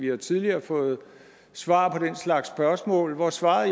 jo tidligere fået svar på den slags spørgsmål hvor svaret